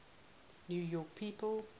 new york people